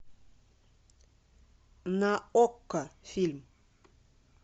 на окко фильм